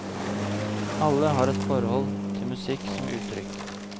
Alle har et forhold til musikk som uttrykk.